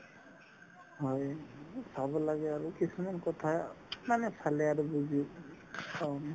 হয়, চাব লাগে আৰু কিছুমান কথা মানে চালে আৰু বুজি পাওঁ আমি